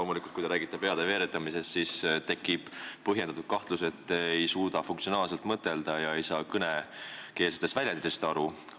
Loomulikult, kui te räägite peade veeretamisest, siis tekib põhjendatud kahtlus, et te ei suuda funktsionaalselt mõtelda ega saa kõnekeelsetest väljenditest aru.